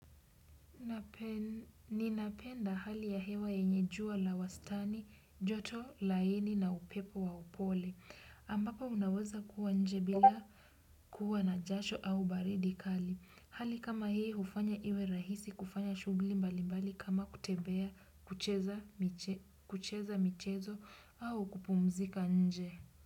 Ninapenda hali ya hewa yenye jua la wastani, joto, laini na upepo wa upole. Ambapo unaweza kuwa nje bila kuwa na jasho au baridi kali. Hali kama hii hufanya iwe rahisi kufanya shughuli mbalimbali kama kutembea, kucheza michezo au kupumzika nje.